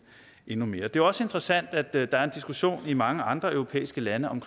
endnu mere det er også interessant at der er en diskussion i mange andre europæiske lande om